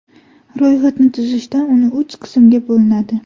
Ro‘yxatni tuzishda uni uch qismga bo‘linadi.